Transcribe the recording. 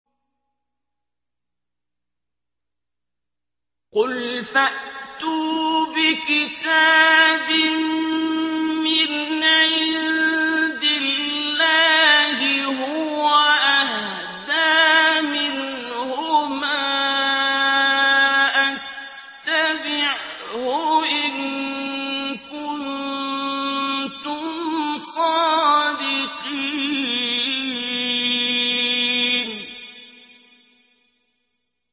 قُلْ فَأْتُوا بِكِتَابٍ مِّنْ عِندِ اللَّهِ هُوَ أَهْدَىٰ مِنْهُمَا أَتَّبِعْهُ إِن كُنتُمْ صَادِقِينَ